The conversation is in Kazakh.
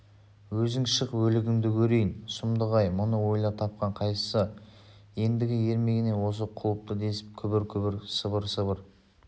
өзің шық өлігіңді көрейін сұмдық-ай мұны ойлап тапқан қайсысы ендігі ермегіне осы қалыпты десіп күбір-күбір сыбыр-сыбыр